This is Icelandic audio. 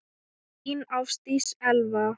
Þín, Ásdís Elva.